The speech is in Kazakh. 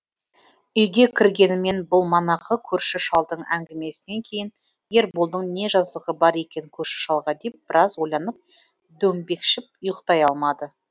үйге кіргенімен бұл манағы көрші шалдың әңгімесінен кейін ерболдың не жазығы бар екен көрші шалға деп біраз ойланып дөңбекшіп ұйықтай алмады